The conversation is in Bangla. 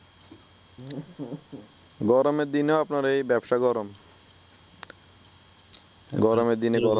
গরমের দিনেও আপনার এই ভ্যাপসা গরম গরমের দিনে গরম